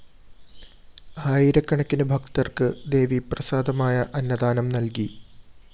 ആയിരക്കണക്കിന് ഭക്തര്‍ക്ക് ദേവീപ്രസാദമായ അന്നദാനം നല്‍കി